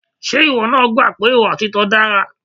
Ṣé ìwọ náà gbà pé ìwà òtítọ́ dára?